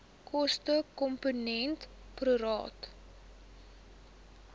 kostekomponent pro rata